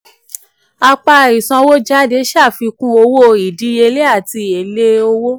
apá ìsanwójáde ṣàfikún owó ìdíyelé àti èlé owó.